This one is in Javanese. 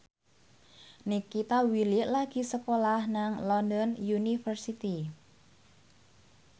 Nikita Willy lagi sekolah nang London University